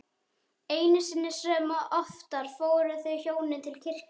Einu sinni sem oftar fóru þau hjónin til kirkju.